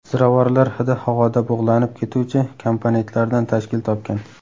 Ziravorlar hidi havoda bug‘lanib ketuvchi komponentlardan tashkil topgan.